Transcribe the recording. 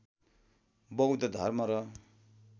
बौद्ध धर्म र